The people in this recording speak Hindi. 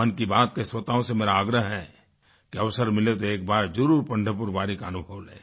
मन की बात के श्रोताओं से मेरा आग्रह है कि अवसर मिले तो एक बार ज़रूर पंढरपुर वारी का अनुभव लें